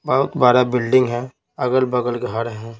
बहुत बड़ा बिल्डिंग है अगल-बगल घर है.